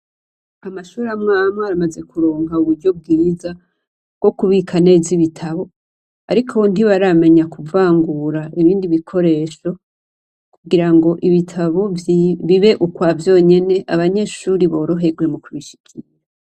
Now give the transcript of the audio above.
Amashure amwamwe bamaze kuronka uburyo bwiza, bwo kubika neza ibitabo. Ariko ntibaramenya kuvangura ibindi bikoresho, kugira ngo ibitabo bibe ukwa vyonyene abanyeshure boroherwe mu kubishikira.